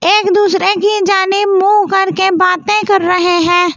एक दूसरे की जाने मुँह कर के बातें कर रहे है ।